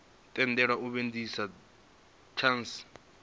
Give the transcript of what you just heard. tendelwa u vhudzisa thanzi inwe